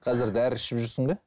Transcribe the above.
қазір дәрі ішіп жүрсің бе